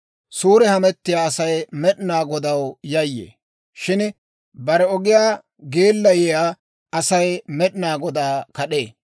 Suure hamettiyaa Asay Med'inaa Godaw yayyee; shin bare ogiyaa geellayiyaa asay Med'inaa Godaa kad'ee.